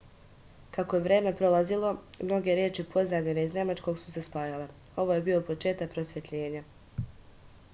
kako je vreme prolazilo mnoge reči pozajmljene iz nemačkog su se spajale ovo je bio početak prosvetljenja